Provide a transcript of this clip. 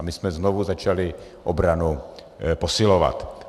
A my jsme znovu začali obranu posilovat.